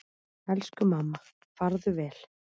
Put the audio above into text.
Elsku mamma, farðu vel.